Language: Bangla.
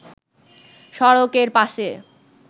সড়কের পাশে